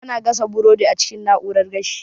Ana gasa burodi a cikin na'urar gashi